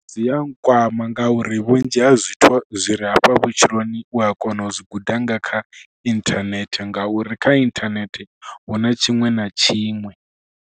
Dzi a nkwama ngauri vhunzhi ha zwithu zwi re hafha vhutshiloni u a kona u zwi guda nga kha inthanethe ngauri kha inthanethe hu na tshiṅwe na tshiṅwe.